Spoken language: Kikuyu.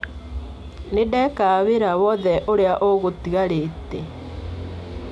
Nĩndeka wĩra wothe ũrĩa ũgũtigarĩte.